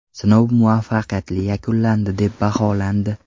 Sinov muvaffaqiyatli yakunlandi deb baholandi.